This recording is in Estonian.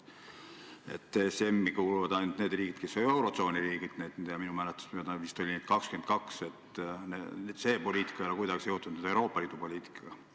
ESM-i kuuluvad ainult need riigid, kes on eurotsooni riigid – minu mäletamist mööda oli neid 22 – ja see poliitika ei ole kuidagi seotud Euroopa Liidu poliitikaga.